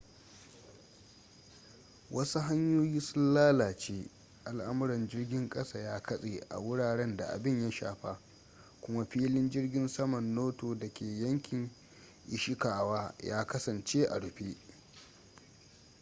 wasu hanyoyi sun lalace al'amuran jirgin kasa ya katse a wuraren da abin ya shafa kuma filin jirgin saman noto da ke yankin ishikawa ya kasance a rufe